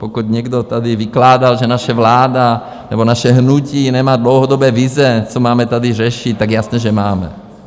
Pokud někdo tady vykládal, že naše vláda nebo naše hnutí nemá dlouhodobé vize, co máme tady řešit, tak jasně, že máme.